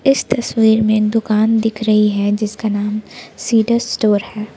इस तस्वीर में दुकान दिख रही है जिसका नाम सीड्स स्टोर है।